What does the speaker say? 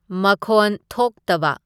ꯃꯈꯣꯟ ꯊꯣꯛꯇꯕ